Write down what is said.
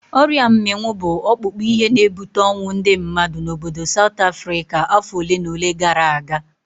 Ọrịa mminwu bụ ọkpụkpụ ihe na-ebute ọnwụ ndị mmadụ n'obodo Saut Afrịka afọ olenaole gara aga.